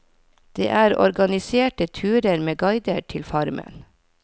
Det er organiserte turer med guide til farmen.